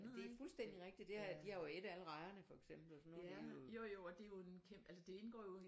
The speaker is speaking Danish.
Det er fuldstændigt rigtigt de har jo ædt alle rejerne for eksempel så nu